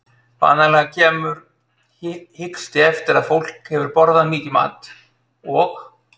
Vanalega kemur hiksti eftir að fólk hefur borðað mikinn mat og